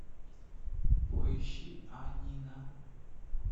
поищи анина